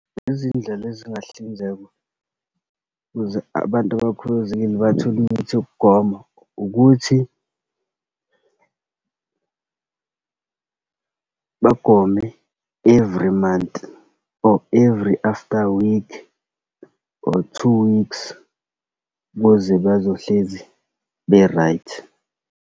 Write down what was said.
Izindlela ezingahlinzekwa ukuze abantu abakhubazekile bathole imithi yokugoma, ukuthi bagome every month, or every after week, or two weeks, ukuze bazohlezi be-right.